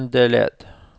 Søndeled